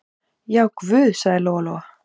Já, guð, sagði Lóa-Lóa.